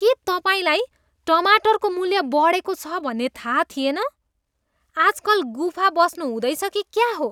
के तपाईँलाई टमाटरको मूल्य बढेको छ भन्ने थाहा थिएन? आजकल गुफा बस्नु हुँदैछ कि क्या हो?